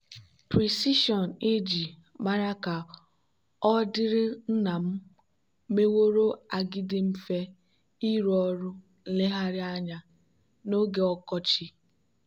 precision ag mere ka ọ dịrị nna m meworo agadi mfe ịrụ ọrụ nlegharị anya n'oge ọkọchị.